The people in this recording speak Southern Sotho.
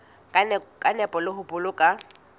ka nepo le ho boloka